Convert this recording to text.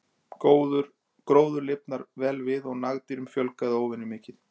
Gróður lifnaði vel við og nagdýrum fjölgaði óvenju mikið.